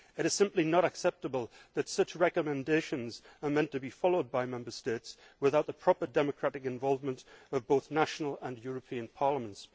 It is simply not acceptable that such recommendations are meant to be followed by Member States without the proper democratic involvement of both national and European Parliaments.